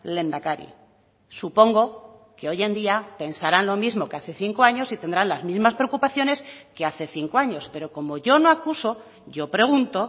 lehendakari supongo que hoy en día pensaran lo mismo que hace cinco años y tendrán las mismas preocupaciones que hace cinco años pero como yo no acuso yo pregunto